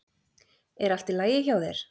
Er allt í lagi hjá þér?